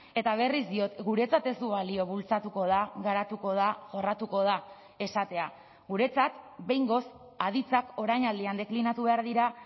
eta berriz diot guretzat ez du balio bultzatuko da garatuko da jorratuko da esatea guretzat behingoz aditzak orainaldian deklinatu behar dira